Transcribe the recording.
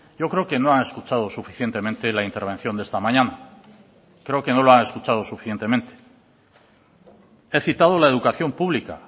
yo creo que no ha escuchado suficientemente la intervención de esta mañana creo que no lo ha escuchado suficientemente he citado la educación pública